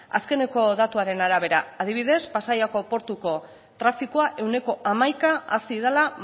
azken datuaren arabera adibidez pasaiako portuko trafikoa ehuneko hamaika hazi dela